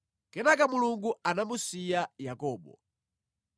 Kenaka Mulungu anamusiya Yakobo.